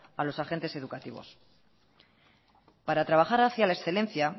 a los agentes educativos para trabajar hacia la excelencia